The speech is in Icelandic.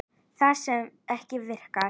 Það sem ekki virkar